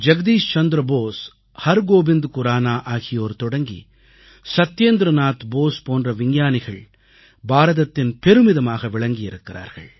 ஜகதீஷ் சந்திர போஸ் ஹர்கோவிந்த் குரானா ஆகியோர் தொடங்கி சத்யேந்திர நாத் போஸ் போன்ற விஞ்ஞானிகள் பாரதத்தின் பெருமிதமாக விளங்குகிறார்கள்